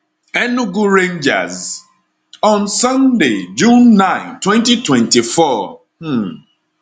enugu rangers on sunday june 9 2024 um